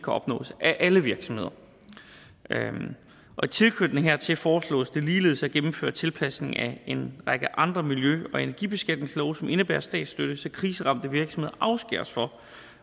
opnås af alle virksomheder i tilknytning hertil foreslås det ligeledes at gennemføre en tilpasning af en række andre miljø og energibeskatningslove som indebærer statsstøtte så kriseramte virksomheder afskæres fra